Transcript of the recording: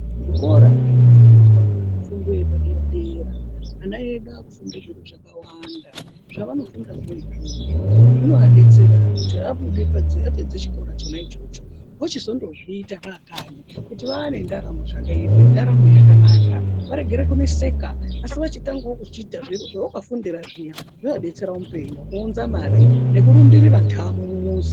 Zvikora zvinofundwa fundo yepa dera dera vana vedu vakufunde zviro zvakawanda zvavanofunda zvee izvozvo zvinovabetsera kuti abude panze apedza chikora chona ichocho vochinozondozviita aakanyi kuti vane ndaramo zvakaimi nendaramo yakanaka varege kunetseka asi vochinozoita ,viro zvavakafunda zviya zvova betsera muupenyu nekuunza mari nekurumbirira ndamo mumuzi.